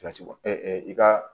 Kilasi i ka